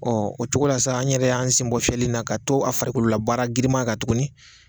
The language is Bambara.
o cogo la sa an yɛrɛ y'an sen bɔ fiyɛli in na ka to a farikololabaara girinma kan tuguni.